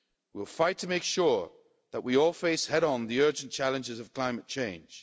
We will fight to make sure that we all face head on the urgent challenges of climate change.